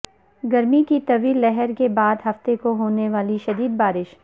گرمی کی طویل لہر کے بعد ہفتے کو ہونے والی شدید بارش